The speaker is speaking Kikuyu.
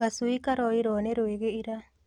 Gacui karoirwo nĩ rwĩgĩ ira.